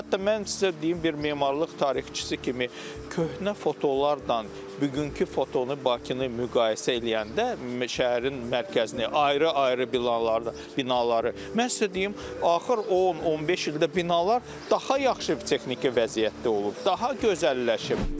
Hətta mən sizə deyim, bir memarlıq tarixçisi kimi köhnə fotolarla bugünkü fotonu Bakını müqayisə eləyəndə, şəhərin mərkəzini, ayrı-ayrı binaları, mən sizə deyim, axır 10-15 ildə binalar daha yaxşı texniki vəziyyətdə olub, daha gözəlləşib.